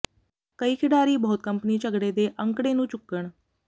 ਕਈ ਖਿਡਾਰੀ ਬਹੁਤ ਕੰਪਨੀ ਝਗੜੇ ਦੇ ਅੰਕੜੇ ਨੂੰ ਚੁੱਕਣ